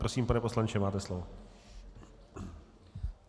Prosím, pane poslanče, máte slovo.